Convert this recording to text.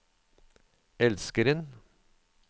elskeren